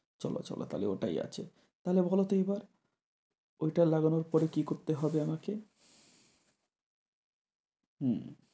চল চল তাহলে ওটাই আছে। তাহলে বলো তো এইবার ঐটা লাগানোর পর কি করতে হবে আমাকে? হুম